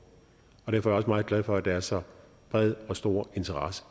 og derfor også meget glad for at der er så bred og stor interesse